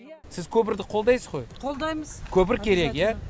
сіз көпірді қолдайсыз ғой қолдаймыз көпір керек иә